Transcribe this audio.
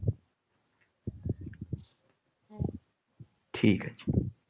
ঠিক আছে।